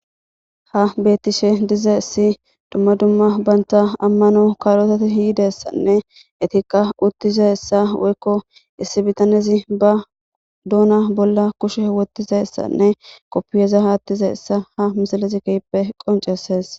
Ha bettishe dizayssi dumma dumma bantta aamano kalotatti yidayssanne eettikka uuttizayssa woykko issi biittanezi ba duunna bolla kushshe wottizayssanne koopiyaza aatizayssa ha misilezii keehi qonccises